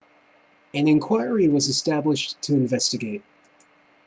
an inquiry was established to investigate